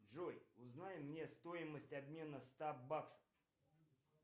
джой узнай мне стоимость обмена ста баксов